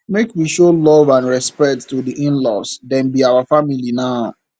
make we show love and respect to di inlaws dem be our family now